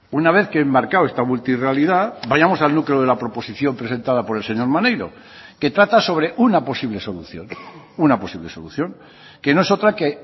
una vez que he enmarcado esta multirrealidad vayamos al núcleo de la proposición presentada por el señor maneiro que trata sobre una posible solución una posible solución que no es otra que